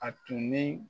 A tun ni